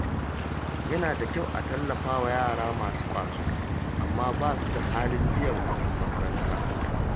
Yana da kyau a tallafa wa yara masu ƙwazo amma ba su da halin biyan kuɗi makaranta.